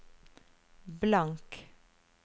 blank